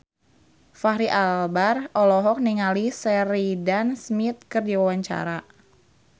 Fachri Albar olohok ningali Sheridan Smith keur diwawancara